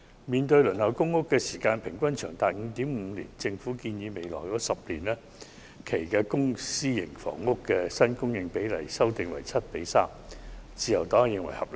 面對輪候公屋的時間平均長達 5.5 年，政府建議將未來10年的公私營房屋新供應比例修訂為 7：3， 自由黨認為是合理的。